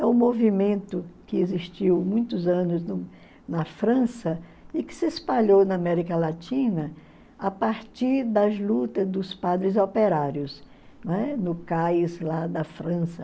É um movimento que existiu muitos anos na França e que se espalhou na América Latina a partir das lutas dos padres operários, né, no cais lá da França.